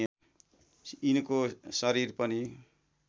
यिनको शरीर पनि